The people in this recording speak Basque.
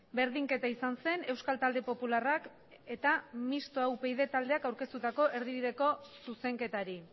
berdinketa izan zen euskal talde popularrak eta mistoa upyd taldeak aurkeztutako erdibideko zuzenketari